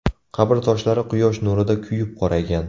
Qabr toshlari quyosh nurida kuyib qoraygan.